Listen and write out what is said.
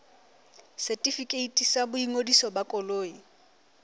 setefikeiti sa boingodiso ba koloi